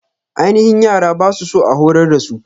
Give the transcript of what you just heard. Aininhi yara ba su so a horar dasu.